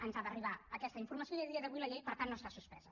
ens ha d’arribar aquesta informació i a dia d’avui la llei per tant no està suspesa